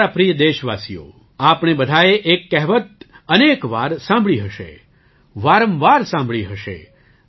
મારા પ્રિય દેશવાસીઓ આપણે બધાએ એક કહેવત અનેક વાર સાંભળી હશે વારંવાર સાંભળી હશે